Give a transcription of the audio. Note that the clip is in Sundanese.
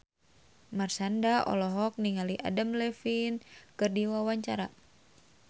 Marshanda olohok ningali Adam Levine keur diwawancara